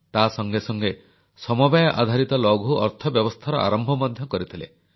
ତା ସଙ୍ଗେ ସଙ୍ଗେ ସମବାୟ ଆଧାରିତ ଲଘୁ ଅର୍ଥବ୍ୟବସ୍ଥାର ଆରମ୍ଭ ମଧ୍ୟ କରିଥିଲେ